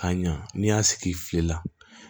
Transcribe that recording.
Ka ɲa n'i y'a sigi i filila